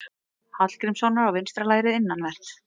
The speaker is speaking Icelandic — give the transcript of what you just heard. Hallgrímssonar á vinstra lærið innanvert.